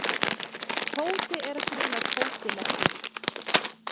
Tóti er að grilla kótilettur.